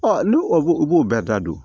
n'u b'o bɛɛ da don